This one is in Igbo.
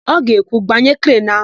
Ọ ga-ekwu, "gbanye krenu áhụ̀"!